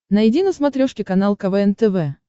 найди на смотрешке канал квн тв